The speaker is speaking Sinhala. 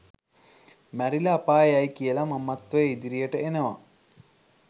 මැරිලා අපායේ යයි කියලා මමත්වය ඉදිරියට එනවා.